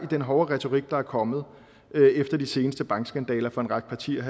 den hårde retorik der er kommet efter de seneste bankskandaler fra en række partiers